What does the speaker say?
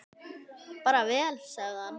Bara vel, sagði hann.